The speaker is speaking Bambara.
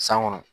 San kɔnɔ